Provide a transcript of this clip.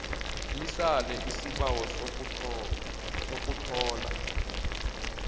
lisale isibawo sokuthola